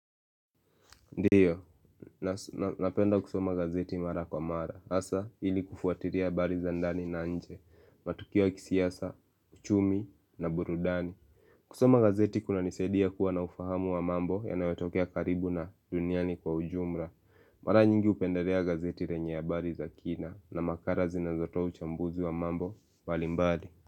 Ndiyo, napenda kusoma gazeti mara kwa mara, hasaa ili kufuatilia habari za ndani na nje, matukio ya kisiasa, uchumi na burudani. Kusoma gazeti kunanisadia kuwa na ufahamu wa mambo yanaotokea karibu na duniani kwa ujumla. Mara nyingi hupendelea gazeti lenye habari za kina na makala zinazotoa uchambuzi wa mambo mbalimbali.